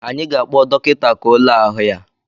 Anyị ga-akpọ dọkịta, ka ọ le ahụ ya